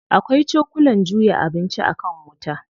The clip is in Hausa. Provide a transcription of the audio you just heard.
Akwai cokulan juya abinci a kan wuta.